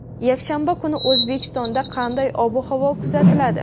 Yakshanba kuni O‘zbekistonda qanday ob-havo kuzatiladi?.